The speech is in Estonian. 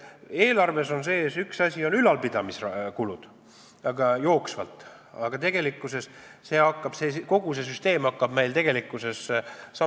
Eelarves on sees jooksvad ülalpidamiskulud, aga tegelikkuses hakkab meil kogu see süsteem samm-sammult amortiseeruma.